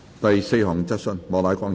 第四項質詢。